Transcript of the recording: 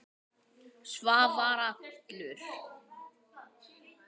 Svavar allur.